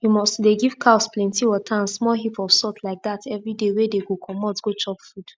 you must to dey give cows plenty water and small heap of salt like dat everyday wey dey go comot go chop food